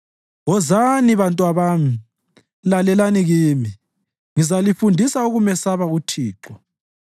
Wozani, bantwabami, lalelani kimi; ngizalifundisa ukumesaba uThixo.